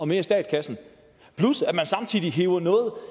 mere i statskassen plus at man samtidig hiver